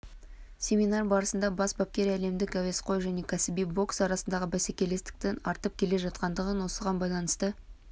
семинар барысында бас бапкер әлемдік әуесқой және кәсіби бокс арасындағы бәсекелестіктің артып келе жатқандығын осыған байланысты